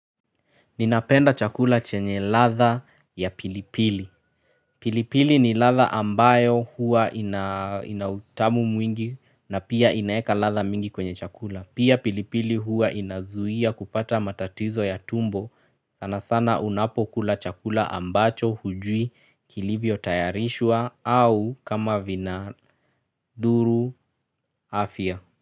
Ninapenda chakula chenye latha ya pilipili. Pilipili ni latha ambayo hua ina utamu mwingi na pia inaweka latha mingi kwenye chakula. Pia pilipili hua inazuia kupata matatizo ya tumbo. Sana sana unapo kula chakula ambacho hujui kilivyo tayarishwa au kama vina dhuru afya.